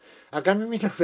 að gamni mínu